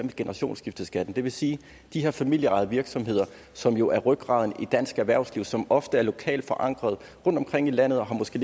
af generationsskifteskatten det vil sige at de her familieejede virksomheder som jo er rygraden i dansk erhvervsliv og som ofte er lokalt forankret rundtomkring i landet og måske